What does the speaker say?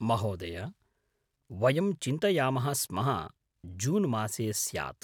महोदय, वयं चिन्तयामः स्मः जूनमासे स्याद्?